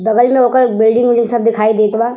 बगल में ओकर एक बिल्डिंग जइसन दिखाई देत बा।